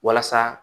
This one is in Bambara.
Walasa